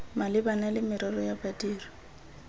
malebana le merero ya badiri